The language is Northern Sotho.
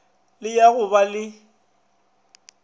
le ya go ba le